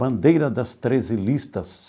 Bandeira das treze listas.